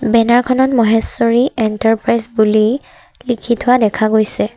Banner খনত Maheshwari enterprise বুলি লিখি থোৱা দেখা গৈছে।